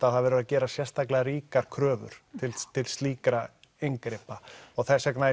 að þar verður að gera sérstaklega ríkar kröfur til slíkra inngripa og þess vegna